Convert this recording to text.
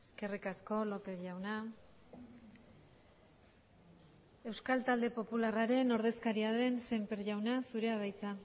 eskerrik asko lópez jauna euskal talde popularraren ordezkaria den sémper jauna zurea da hitza